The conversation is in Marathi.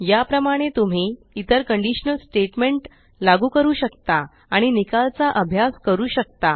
या प्रमाणे तुम्ही इतर कंडीशनल स्टेट्मेंट लागू करू शकता आणि निकाल चा अभ्यास करू शकता